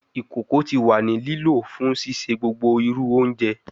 Ikoko ti wa ni lo fun sise gbogbo iru ounje